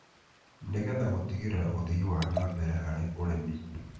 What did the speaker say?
nĩ getha gũtigĩrĩra ũthii wana mbere harĩ ũrĩmi,